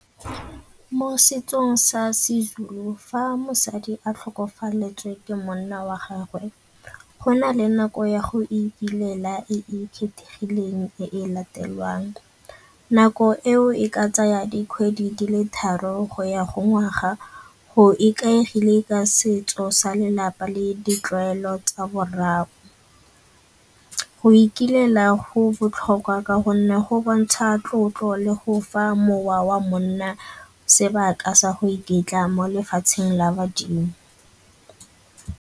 Mo setsong sa seZulu fa mosadi a tlhokafaletswe ke monna wa gagwe go na le nako ya go ikilela e e kgethegileng e latelwang. Nako eo e ka tsaya dikgwedi di le tharo go ya go ngwaga go ikaegile ka setso sa lelapa le ditlwaelo tsa borai. Go ikilela go botlhokwa ka gonne go bontsha tlotlo le go fa mowa wa monna sebaka sa go iketla mo lefatsheng la badimo.